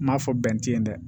N m'a fɔ bɛn ti ye dɛ